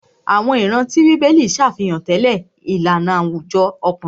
Àwọn ìran tí bíbélì ṣàfihàn tẹlẹ ìlànà àwùjọ ọkùnrin.